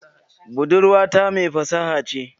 Budurwata mai fasaha ce